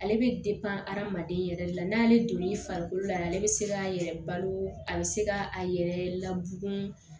Ale bɛ hadamaden yɛrɛ de la n'ale donn'i farikolo la ale bɛ se k'a yɛrɛ balo a bɛ se k'a yɛrɛ ladon